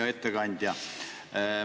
Hea ettekandja!